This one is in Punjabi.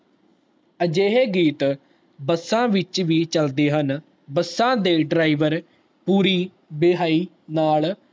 ਅਜਿਹੇ ਗੀਤ ਬਸਾ ਵਿਚ ਵੀ ਚਲਦੇ ਹਨ ਬਸ ਦੇ driver ਪੂਰੀ ਵੇਹਾਯੀ ਨਾਲ